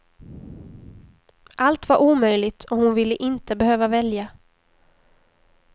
Allt var omöjligt, och hon ville inte behöva välja.